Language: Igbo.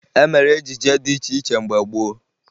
E mere ejije dị iche iche mgbe gboo